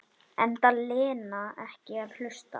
Enda Lena ekki að hlusta.